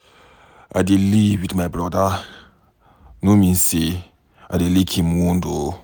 I dey live with my brother no mean say I go dey lick im wound